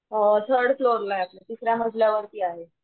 Third floor ला आपलं तिसऱ्या मजल्या वरती आहे.